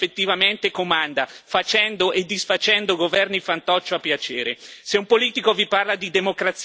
Se un politico vi parla di democrazia senza rigettare questo dogma è un politico che vi sta mentendo.